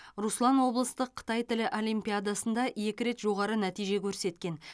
руслан облыстық қытай тілі олимпиадасында екі рет жоғары нәтиже көрсеткен